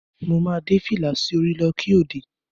Mo máa dé fìlà sí orí lọ́ kí òde.